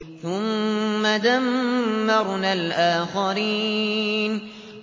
ثُمَّ دَمَّرْنَا الْآخَرِينَ